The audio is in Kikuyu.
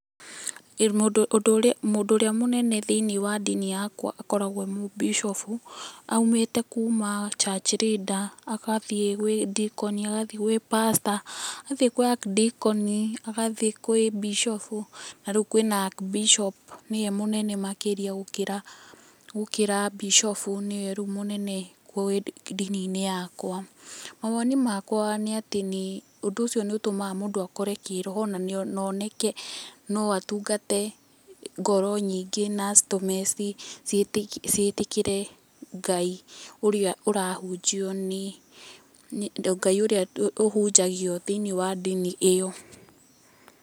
Mũndũ ũrĩa mũnene thĩiniĩ wa ndini yakwa akoragwo e mũbicobu aumite kuma Church Leader agathiĩ kwĩ Decon agathiĩ gwĩ Pastor agathii gwĩ Ac-Decon, agathiĩ kwĩ bicobu na rĩu kwina Ac-Bishop nĩwe mũnene makĩrĩa gũkĩra Bicobu nĩwe rĩu mũnene ndini-inĩ yakwa. Mawoni makwa nĩ atĩ nĩ, ũndũ ũcio nĩ ũtũmaga mũndũ akũre kĩroho na oneke no atungate ngoro nyingĩ, na acitũme ciĩtĩkĩre Ngai ũrĩa ũrahunjio nĩ, Ngai ũrĩa ũhunjagio thĩiniĩ wa ndini ĩyo.